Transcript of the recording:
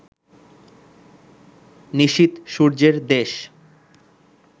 নিশীথ সূর্যের দেশ